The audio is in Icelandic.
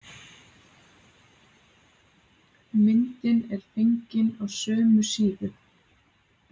Myndin er fengin á sömu síðu.